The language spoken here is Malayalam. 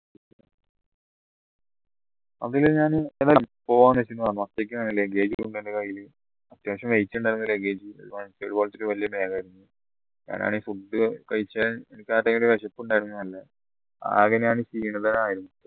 അതില് ഞാന് luggage ഉ ഉണ്ട് എന്റെ കയ്യിൽ അത്യാവശ്യം weight ഉണ്ടായിരുന്നു luggage പോലത്തെ ഒരു വലിയ bag ആയിരുന്നു ഞാൻ ആണേൽ food കഴിച്ച വിശപ്പുണ്ടായിരുന്നു നല്ല ആകെ ഞാൻ ക്ഷീണിതനായി